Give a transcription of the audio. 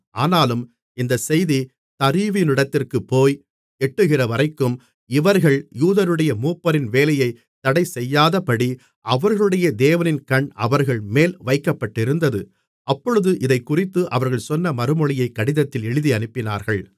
ஆனாலும் இந்தச் செய்தி தரியுவினிடத்திற்குப் போய் எட்டுகிறவரைக்கும் இவர்கள் யூதருடைய மூப்பரின் வேலையைத் தடைசெய்யாதபடி அவர்களுடைய தேவனின் கண் அவர்கள்மேல் வைக்கப்பட்டிருந்தது அப்பொழுது இதைக்குறித்து அவர்கள் சொன்ன மறுமொழியைக் கடிதத்தில் எழுதியனுப்பினார்கள்